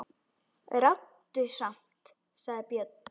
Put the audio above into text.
Ráddu samt, sagði Björn.